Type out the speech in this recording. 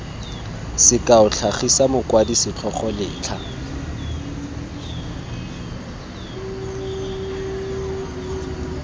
sekao tlhagisa mokwadi setlhogo letlha